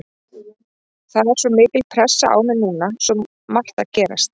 Það er svo mikil pressa á mér núna, svo margt að gerast.